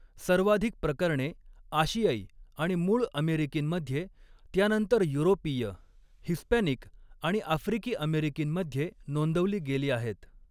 सर्वाधिक प्रकरणे आशियाई आणि मूळ अमेरिकींमध्ये, त्यानंतर युरोपीय, हिस्पॅनिक आणि आफ्रिकी अमेरिकींमध्ये नोंदवली गेली आहेत.